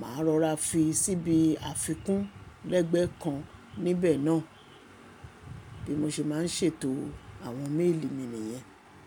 màá rọra fi síbi àfikún lẹ́gbẹ́ẹ́ kan níbẹ̀ náà. Bí mo ṣe máa ń ṣètò àwọn méèlì mi nìyẹn.